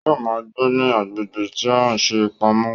Yóò ma gbé ní agbègbè tí a ṣe pamọ́